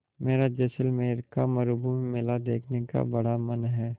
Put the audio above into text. मेरा जैसलमेर का मरूभूमि मेला देखने का बड़ा मन है